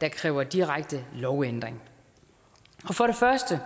der kræver direkte lovændring for det første